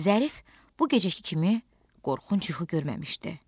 Zərif bu gecəki kimi qorxunc yuxu görməmişdi.